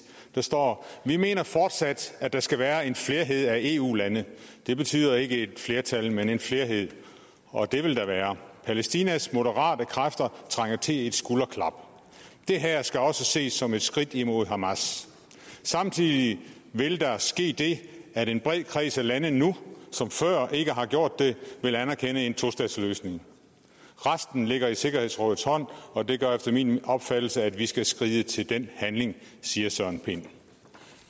der står vi mener fortsat at der skal være en flerhed af eu lande det betyder ikke et flertal men en flerhed og det vil der være palæstinas moderate kræfter trænger til et skulderklap det her skal også ses som et skridt imod hamas samtidig vil der ske det at en bred kreds af lande nu som før ikke har gjort det vil anerkende en tostatsløsning resten ligger i sikkerhedsrådets hånd og det gør efter min opfattelse at vi skal skride til den handling siger søren pind